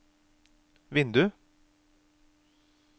vindu